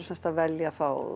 að velja